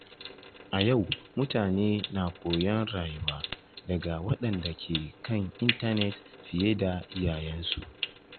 A yau, mutane na koyon rayuwa daga waɗanda ke kan intanet fiye da iyayensu.